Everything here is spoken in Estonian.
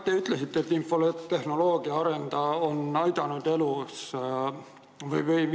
Te ütlesite, et infotehnoloogia areng on aidanud elu edasi viia.